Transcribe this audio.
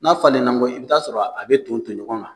N'a falen n kɔ i bi taa sɔrɔ a bi ton ton ɲɔgɔn kan